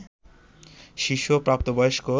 শিশু ও প্রাপ্তবয়স্ক